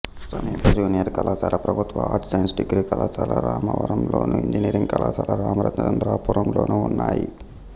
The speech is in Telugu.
సమీప జూనియర్ కళాశాల ప్రభుత్వ ఆర్ట్స్ సైన్స్ డిగ్రీ కళాశాల రామవరంలోను ఇంజనీరింగ్ కళాశాల రామచంద్రపురంలోనూ ఉన్నాయి